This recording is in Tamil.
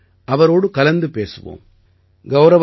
வாருங்கள் அவரோடு கலந்து பேசுவோம்